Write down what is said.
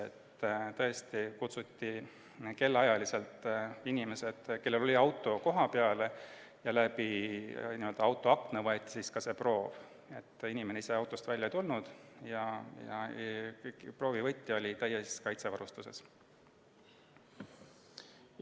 Inimesed kutsuti kellaajaliselt – need, kellel oli auto – koha peale ja läbi autoakna võeti proov, inimene ise autost välja ei tulnud ja proovivõtja oli täies kaitsevarustuses.